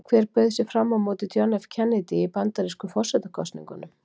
Hver bauð sig fram á móti John F Kennedy í bandarísku forsetakosningunum?